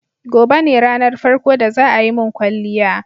Gobe ne ranar farko da za a yi mun kwalliya.